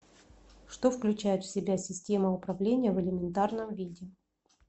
что включает в себя система управления в элементарном виде